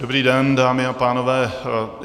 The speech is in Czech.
Dobrý den, dámy a pánové.